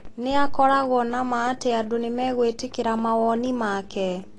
Nĩ akoragwo na ma atĩ andũ nĩ megwĩtĩkĩra mawoni make.